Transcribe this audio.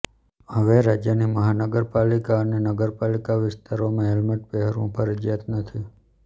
હવે રાજ્યની મહાનગરપાલિકા અને નગરપાલિકા વિસ્તારમાં હેલ્મેટ પહેરવું ફરજીયાત નથી